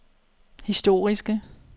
historiske